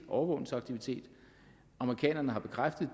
overvågningsaktivitet og amerikanerne har bekræftet